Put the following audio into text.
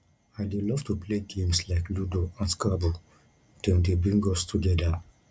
i dey love to play games like ludo and scrabble dem dey bring us together